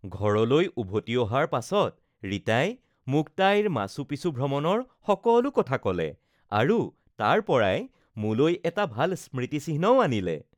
ঘৰলৈ উভতি অহাৰ পাছত ৰীতাই মোক তাইৰ মাচু পিচু ভ্ৰমণৰ সকলো কথা ক’লে আৰু তাৰ পৰাই মোলৈ এটা ভাল স্মৃতিচিহ্নও আনিলে